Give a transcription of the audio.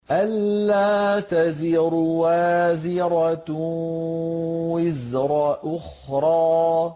أَلَّا تَزِرُ وَازِرَةٌ وِزْرَ أُخْرَىٰ